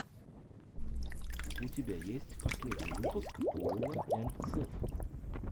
у тебя есть последний выпуск коула энд сэв